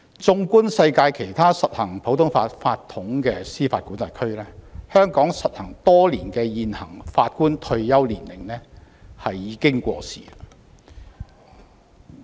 縱觀世界其他實行普通法法統的司法管轄區，香港實行多年的現行法官退休年齡已過時。